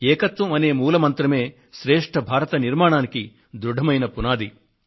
ఏకత్వం అనే మూల మంత్రమే శ్రేష్ఠ భారత నిర్మాణానికి దృఢమైన పునాది